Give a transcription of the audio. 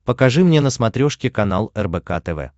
покажи мне на смотрешке канал рбк тв